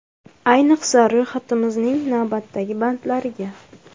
Ayniqsa ro‘yxatimizning navbatdagi bandlariga.